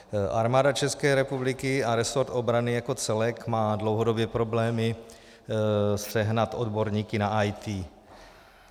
Armáda České republiky a resort obrany jako celek má dlouhodobě problémy sehnat odborníky na IT.